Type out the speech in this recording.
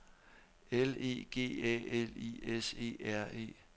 L E G A L I S E R E